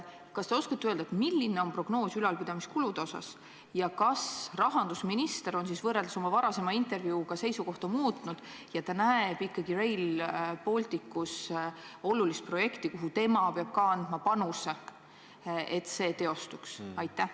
Kas te oskate öelda, milline on prognoos ülalpidamiskulude osas ja kas rahandusminister on võrreldes oma varasema intervjuuga seisukohta muutnud ja ikkagi näeb Rail Balticus olulist projekti, millesse ka tema peab andma panuse, et see teostuks?